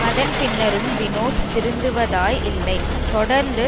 அதன் பின்னரும் வினோத் திருந்துவதாயில்லை தொடர்ந்து